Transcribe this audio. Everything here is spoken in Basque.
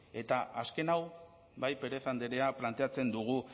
eta azken hau bai pérez andrea planteatzen dugu